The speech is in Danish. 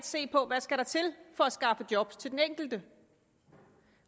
se på hvad skal der til for at skaffe job til den enkelte